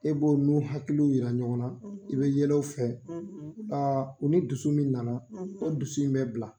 E b'o n'u hakiliw yira ɲɔgɔn na i bɛ yɛlɛ u fɛ u ni dusu min na na o dusu in bɛ bila.